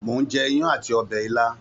Mò ń jẹ iyán àti ọbẹ̀ ilá